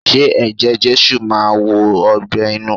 Ṣé Eje Jésù máa wo ọgbẹ́ inú?